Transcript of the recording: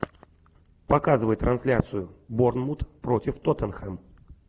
показывай трансляцию борнмут против тоттенхэм